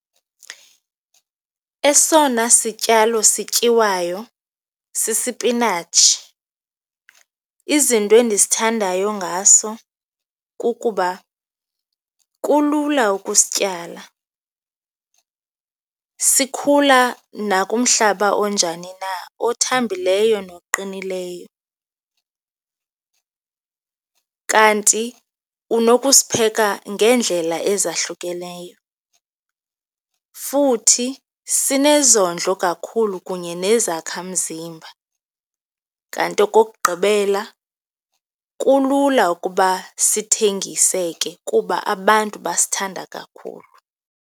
Esona sityalo sityiwayo sisipinatshi. Izinto endisithandayo ngaso kukuba kulula ukusityala, sikhula nakumhlaba onjani na, othambileyo noqinileyo. Kanti unokusipheka ngeendlela ezahlukeneyo futhi sinezondlo kakhulu kunye nezakhamzimba. Kanti okokugqibela, kulula ukuba sithengiseke kuba abantu basithanda kakhulu.